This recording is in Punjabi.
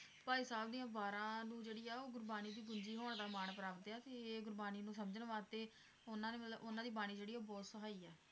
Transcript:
ਭਾਈ ਸਾਹਿਬ ਦੀਆਂ ਵਾਰਾਂ ਨੂੰ ਜਿਹੜੀ ਆ ਉਹ ਗੁਰਬਾਣੀ ਦੀ ਪੂੰਜੀ ਹੋਣ ਦਾ ਮਾਨ ਪ੍ਰਾਪਤ ਆ ਤੇ ਗੁਰਬਾਣੀ ਨੂੰ ਸਮਝਣ ਵਾਸਤੇ ਉਹਨਾਂ ਨੇ ਮਤਲਬ ਉਹਨਾਂ ਦੀ ਬਾਣੀ ਜਿਹੜੀ ਆ ਉਹ ਬਹੁਤ ਸਹਾਈ ਆ